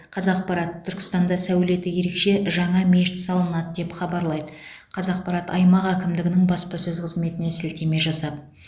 қазақпарат түркістанда сәулеті ерекше жаңа мешіт салынады деп хабарлайды қазақпарат аймақ әкімдігінің баспасөз қызметіне сілтеме жасап